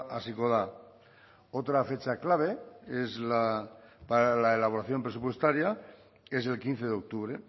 hasiko da otra fecha clave es la para la elaboración presupuestaria es el quince de octubre